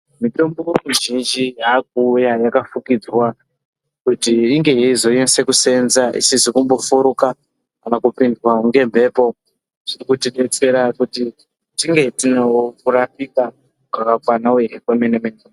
Mitombo mizhinji yakuuya yakafukidzwa kuti inge yezonase kuseenza isizi kumbofuruka kana kupindwa ngemhepo. Zvinotidetsera kuti tinge tinorapikakana wahinwa kemene mene.